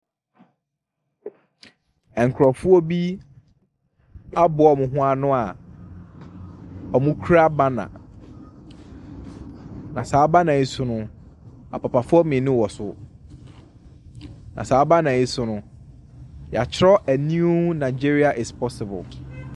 Nkurofoɔ bi aboa ɔmo ho ano a ɔmo kura bana. Na saa bana yi so no, apapafoɔ mmienu wɔso. Na saa bana yi so no, yeatwerɛ a niw naegyeria es pɔsibol.